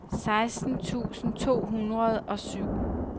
seksten tusind to hundrede og syv